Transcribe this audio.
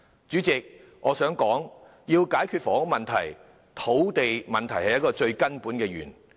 主席，我想指出要解決房屋問題，土地問題是最根本的源頭。